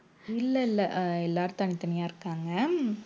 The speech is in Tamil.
இல்லை இல்லை அஹ் எல்லாரும் தனித்தனியா இருக்காங்க